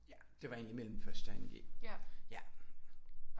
Ja det var egentlig imellem 1. og 2.g ja